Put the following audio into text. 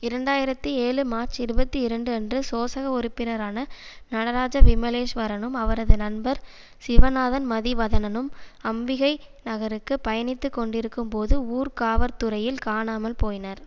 இரண்டாயிரத்தி ஏழு மார்ச் இருபத்தி இரண்டு அன்று சோசக உறுப்பினரான நடராஜா விமலேஸ்வரனும் அவரது நண்பர் சிவநாதன் மதிவதனனும் அம்பிகை நகருக்குப் பயணித்துக்கொண்டிருக்கும் போது ஊர்காவற்துறையில் காணாமல் போயினர்